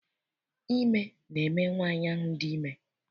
Ime na eme nwaanyị ahụ dị ime.